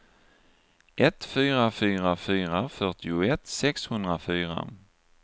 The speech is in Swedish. ett fyra fyra fyra fyrtioett sexhundrafyra